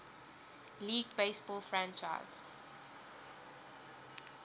league baseball franchise